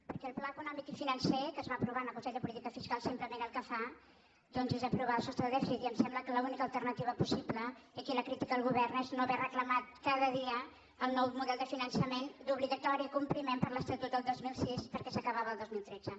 perquè el pla econòmic i financer que es va aprovar en el consell de política fiscal simplement el que fa doncs és aprovar el sostre de dèficit i em sembla que l’única alternativa possible i aquí la crítica al govern és no haver reclamat cada dia el nou model de finançament d’obligatori compliment per l’estatut del dos mil sis perquè s’acabava el dos mil tretze